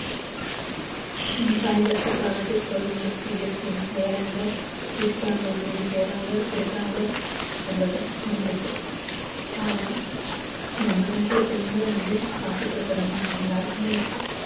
ஹம் சாய்ந்திரத்துக்கானது குழந்தைகளுக்கு வேண்டியது செஞ்சு செய்றாங்க வீட்டுக்காரங்களுக்கு வேண்டிய செய்றாங்க குடுக்குறாங்க அவ்ளோதான் முடிஞ்சிறுது ஆனா நம்ம வீட்ல பெண்களை வந்து பார்த்துக்கிற கடமை நம்ம எல்லாருக்குமே இருக்கு